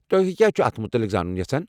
تۄہہِ کیاہ چھِوٕ اتھ مُتعلق زانُن یژھان ؟